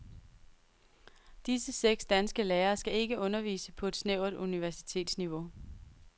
Disse seks danske lærere skal ikke undervise på et snævert universitetsniveau.